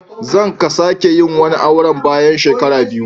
Zan ka sake yin wani auren bayan shekara biyu.